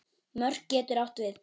Mörk getur átt við